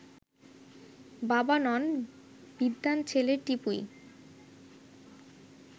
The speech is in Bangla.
বাবা নন, বিদ্বান ছেলে টিপুই